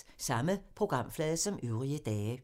Samme programflade som øvrige dage